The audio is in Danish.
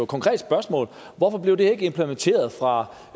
konkret spørgsmål hvorfor blev det ikke implementeret fra